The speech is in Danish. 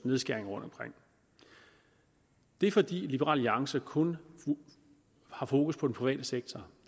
nedskæringer rundtomkring det er fordi liberal alliance kun har fokus på den private sektor